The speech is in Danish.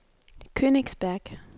Königsberg